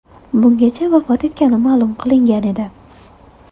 Bungacha vafot etgani ma’lum qilingan edi.